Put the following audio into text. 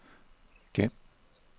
gem